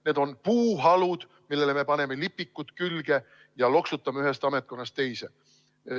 Need on puuhalud, millele me paneme lipikud külge ja loksutame neid ühest ametkonnast teise.